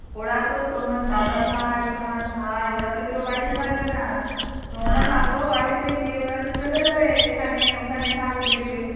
ওরা তো তোমার দাদাভাই তোমার ভাই ওরা তো কেউ বাড়িতে থাকবে না তোমরা থাকো বাড়িতে দিয়ে ওরাতো চলে যাবে. এখানে ওখানে ঠাকুর দেখবে